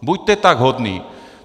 Buďte tak hodný.